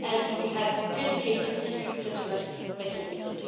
We have a dedicated dispute settlement mechanism.